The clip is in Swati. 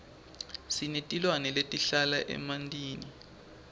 sinetilwane letihlala emantini